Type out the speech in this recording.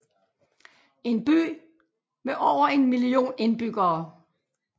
En by med over en million indbyggere